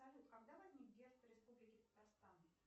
салют когда возник герб республики татарстан